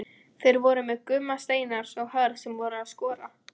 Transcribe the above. Þeir voru með Gumma Steinars og Hörð sem voru að skora.